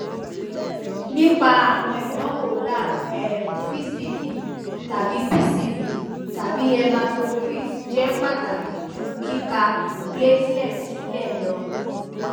nipa awọn idanwo lab um pcv tabi pcv tabi hematocrit jẹ pataki ju kika platelet silẹ lọ